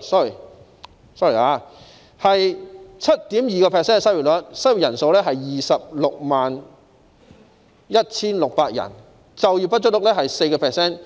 sorry， 失業率是 7.2%， 失業人數是 261,600 人，就業不足率是 4%，15